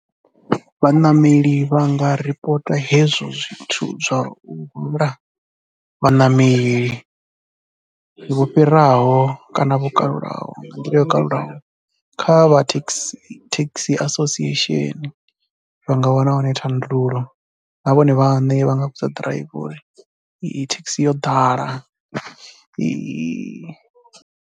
Vhaṋameli vha nga ripota hezwo zwithu zwa u hwala vhaṋameli vho fhiraho kana vho kalulaho nga nḓila yo kalulaho kha kha vha taxi association vha nga wana hone thandululo na vhone vhaṋe vha nga vhudza ḓiraiva uri thekhisi yo ḓala.